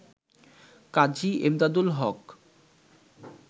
কাজী Emdadul হক